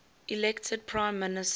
elected prime minister